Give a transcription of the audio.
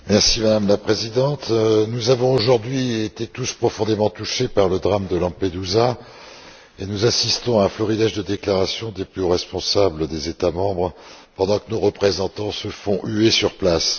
Madame la Présidente, nous avons aujourd'hui tous été profondément touchés par le drame de Lampedusa et nous assistons à un florilège de déclarations des plus hauts responsables des États membres pendant que nos représentants se font huer sur place.